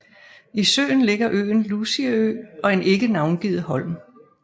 I søen ligger øen Lucieø og en ikke navngivet holm